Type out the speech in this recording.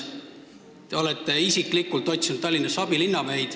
Te olete isiklikult otsinud Tallinnasse abilinnapäid.